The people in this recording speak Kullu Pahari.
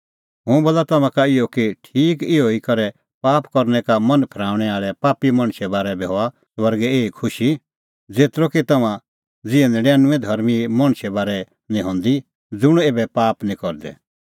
हुंह बोला तम्हां का इहअ कि ठीक इहअ ई करै पाप करनै का मन फरेऊंणै आल़ै पापी मणछे बारै बी हआ स्वर्गै एही ई खुशी ज़ेतरअ कि तम्हां ज़िहै नडिनुंऐं धर्मीं मणछे बारै निं हंदी ज़ुंण ऐबै पाप निं करदै